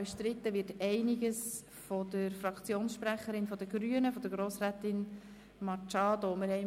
Es wird jedoch einiges durch die Fraktionssprecherin der Grünen, Grossrätin Machado Rebmann, bestritten.